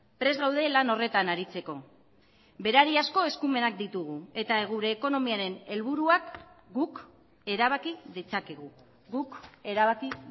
prest gaude lan horretan aritzeko berariazko eskumenak ditugu eta gure ekonomiaren helburuak guk erabaki ditzakegu guk erabaki